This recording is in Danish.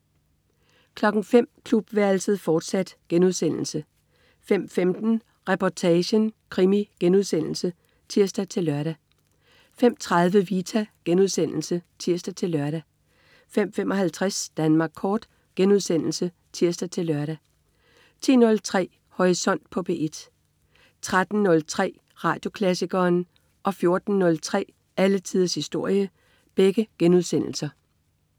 05.00 Klubværelset, fortsat* 05.15 Reportagen: Krimi* (tirs-lør) 05.30 Vita* (tirs-lør) 05.55 Danmark Kort* (tirs-lør) 10.03 Horisont på P1 13.03 Radioklassikeren* 14.03 Alle tiders historie*